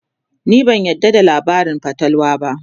ni ban yarda da labarin fatalwa ba